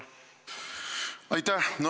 Aitäh!